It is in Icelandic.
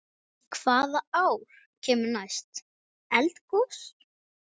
Hvaða ár kemur næst eldgos?